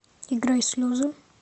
играй слезы